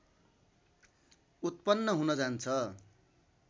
उत्पन्न हुन जान्छ